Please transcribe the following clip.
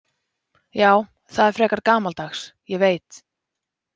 Já, það er frekar gamaldags, ég veit.